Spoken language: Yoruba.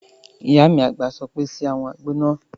Ìyá mi àgbà sọ pé "ṣe àwọn àgbo náà!"